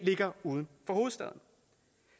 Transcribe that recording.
ligger uden for hovedstaden